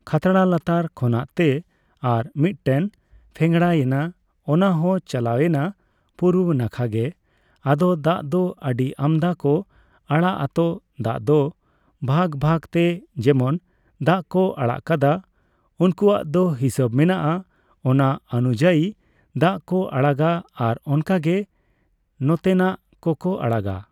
ᱠᱷᱟᱛᱲᱟ ᱞᱟᱛᱟᱨ ᱠᱷᱚᱱᱟᱜᱛᱮ ᱟᱨ ᱢᱤᱫᱴᱟᱱ ᱯᱷᱮᱝᱲᱟᱭᱮᱱᱟ ᱚᱱᱟᱦᱚᱸ ᱪᱟᱞᱟᱣᱭᱮᱱᱟ ᱯᱩᱨᱵᱚ ᱱᱟᱠᱷᱟ ᱜᱮ ᱟᱫᱚ ᱫᱟᱜ ᱫᱚ ᱟᱹᱰᱤ ᱟᱢᱫᱟ ᱠᱚ ᱟᱲᱟᱜ ᱟᱛᱚ ᱫᱟᱜ ᱫᱚ ᱵᱷᱟᱜᱽᱵᱷᱟᱜᱽ ᱛᱮ ᱡᱮᱢᱚᱱ ᱫᱟᱜ ᱠᱚ ᱟᱲᱟᱜ ᱠᱟᱫᱟ ᱩᱱᱠᱩᱣᱟᱜ ᱫᱚ ᱦᱤᱥᱟᱹᱵ ᱢᱮᱱᱟᱜᱼᱟ ᱚᱱᱟ ᱚᱱᱩᱡᱟᱭᱤ ᱫᱟᱜ ᱠᱚ ᱟᱲᱟᱜᱟ ᱟᱨ ᱚᱱᱠᱟᱜᱮ ᱱᱟᱛᱮᱱᱟᱜ ᱠᱚᱠᱚ ᱟᱲᱟᱜᱟ ᱾